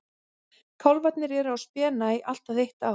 Kálfarnir eru á spena í allt að eitt ár.